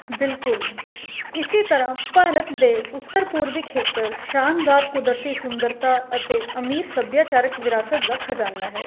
ਬਿਲਕੁਲ ਇਸੀ ਤਰ੍ਹਾਂ ਭਾਰਤ ਦੇ ਉੱਤਰ ਪੂਰਬੀ ਖੇਤਰ ਸ਼ਾਨਦਾਰ ਕੁਦਰਤੀ ਸੁੰਦਰਤਾ ਅਤੇ ਅਮੀਰ ਸਭਿਆਚਾਰਕ ਵਿਰਾਸਤ ਦਾ ਖਜਾਨਾ ਹੈ